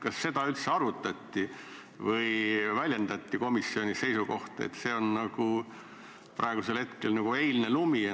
Kas seda üldse arutati või kas väljendati komisjonis seisukohta, et see on praegu nagu eilne lumi?